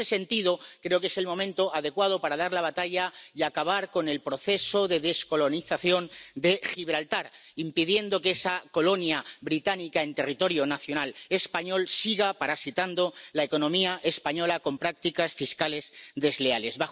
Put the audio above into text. En este sentido, creo que es el momento adecuado para dar la batalla y acabar con el proceso de descolonización de Gibraltar, impidiendo que esa colonia británica en territorio nacional español siga parasitando la economía española con prácticas fiscales desleales.